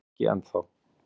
Nei, ekki ennþá.